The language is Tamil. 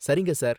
சரிங்க சார்